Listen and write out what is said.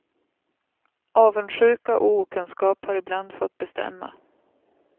Avundsjuka och okunskap har ibland fått bestämma.